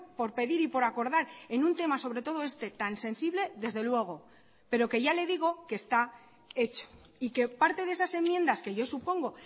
por pedir y por acordar en un tema sobre todo este tan sensible desde luego pero que ya le digo que está hecho y que parte de esas enmiendas que yo supongo